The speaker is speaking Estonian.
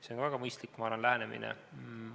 See on väga mõistlik lähenemine.